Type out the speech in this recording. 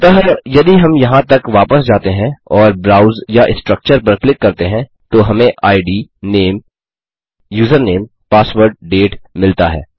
अतः यदि हम यहाँ तक वापस जाते हैं और ब्राउज या स्ट्रक्चर पर क्लिक करते हैं तो हमें इद नामे यूजरनेम पासवर्ड डेट मिलता है